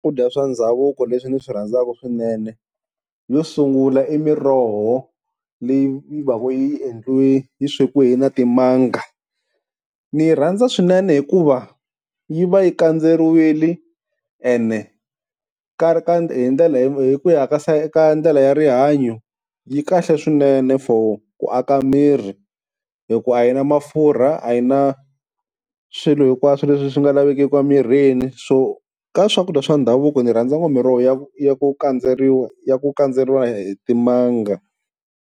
Swakudya swa ndhavuko leswi ndzi swi rhandzaka swinene, yo sungula i miroho leyi va ka yi endliwe yi swekiwe na timanga. Ni yi rhandza swinene hikuva yi va yi kandzeriwile, ene hi ku ya ka ndlela ya rihanyo yi kahle swinene for ku aka miri, hi ku a yi na mafurha a yi na swilo hinkwaswo leswi swi nga lavekeki emirini. So ka swakudya swa ndhavuko ni rhandza ngopfu miroho ya ku ya ku kandzeriwa ya ku kandzeriwa hi timanga.